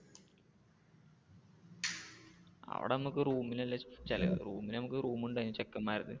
അവിടെ നമുക്ക് room ന് അല്ലെ ചിലവ് room നു നമുക്ക് room ഉണ്ടായിരുന്നു ചെക്കെന്മാരത്